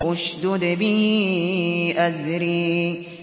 اشْدُدْ بِهِ أَزْرِي